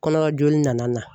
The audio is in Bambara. Kɔnɔjoli nana na.